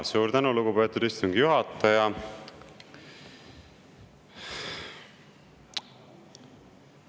Suur tänu, lugupeetud istungi juhataja!